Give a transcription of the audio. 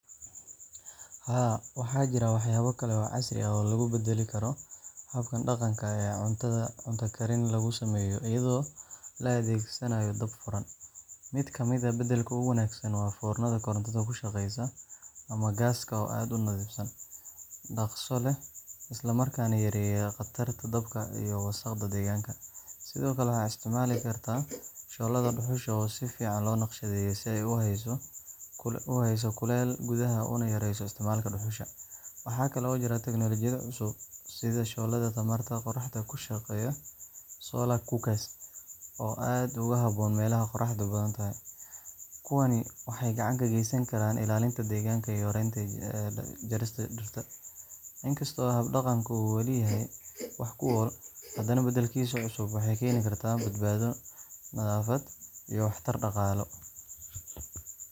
Haa, waxaa jira waxyaabo kale oo casri ah oo lagu beddeli karo habkan dhaqanka ah ee cunto karin lagu sameeyo iyadoo la adeegsanayo dab furan. Mid ka mid ah beddelka ugu wanaagsan waa foornada korontada ku shaqeysa ama gaaska oo aad u nadiifsan, dhaqso leh, isla markaana yareeya qatarta dabka iyo wasaqda deegaanka. Sidoo kale, waxaad isticmaali kartaa shooladda dhuxusha oo si fiican loo naqshadeeyey si ay u hayso kuleylka gudaha una yarayso isticmaalka dhuxusha. Waxaa kale oo jira teknoolojiyado cusub sida shooladaha tamarta qoraxda ku shaqeeya solar cooker soo aad ugu habboon meelaha qorraxdu badan tahay. Kuwani waxay gacan ka geysan karaan ilaalinta deegaanka iyo yareynta jarista dhirta.